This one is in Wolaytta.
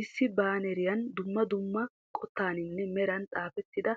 Issi baaneriyan dumma dumma qottaninne meran xaafettida